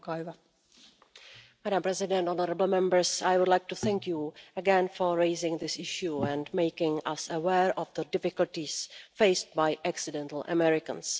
Madam President, I would like to thank you again for raising this issue and making us aware of the difficulties faced by accidental Americans'.